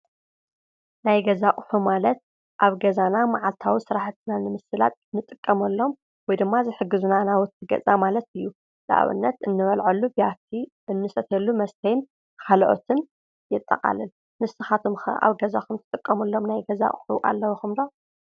ናይ ገዛ አቁሑ ማለት መዓልታዊ ኣብ ገዛና መዓልታዊ ሰራሕቲ ንምስላጥ እንጥቀመሎም ወይደማ ዘሕጉዝና ናውቲ ገዛ ማለት እዬ ። ንአብነት እንበልዐሉ ብያቲ እንሰትየሉ መስተይ ካልኦትን የጠቃልል ። ንስካትኩም ኣብ ገዚኩም እትጥቀምሎም ናይ ገዛ ኣቁሑ ኣለውኩም ዶ?